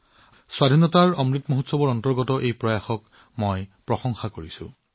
স্বাধীনতাৰ অমৃত মহোৎসৱৰ সময়ত কৰা তেওঁলোকৰ প্ৰচেষ্টাক মই প্ৰশংসা কৰিছো